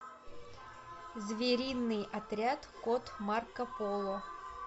звериный отряд кот марко поло